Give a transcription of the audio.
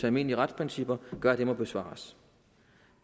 almindelige retsprincipper gør at det må besvares